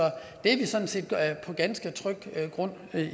vi er sådan set på ganske tryg grund med